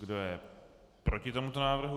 Kdo je proti tomuto návrhu?